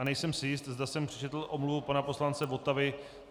A nejsem si jist, zda jsem přečetl omluvu pana poslance Votavy.